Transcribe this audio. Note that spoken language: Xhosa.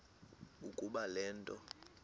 ukuba le nto